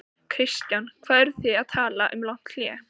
Kristján: Hvað eru þið að tala um langt hlé?